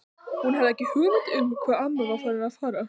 Hún hafði ekki hugmynd um hvað amma var að fara.